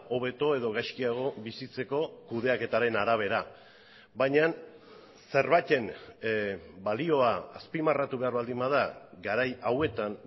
hobeto edo gaizkiago bizitzeko kudeaketaren arabera baina zerbaiten balioa azpimarratu behar baldin bada garai hauetan